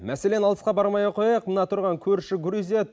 мәселен алысқа бармай ақ қояйық мына тұрған көрші грузия